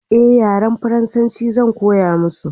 eh yaren faransanci Zan koya musu